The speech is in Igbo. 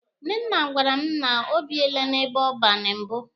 Nnenna gwara m na o biele n'ebe ọban mbụ.